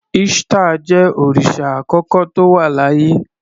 Ishtar jẹ́ òrìsà àkọ́kọ́ tó wà láyé.